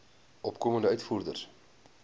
opkomende uitvoerders